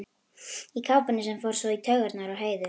Í kápunni sem fór svo í taugarnar á Heiðu.